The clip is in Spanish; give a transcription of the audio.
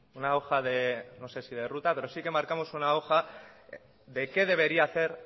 una hoja de no sé si de ruta pero sí que marcamos una hoja de qué debería hacer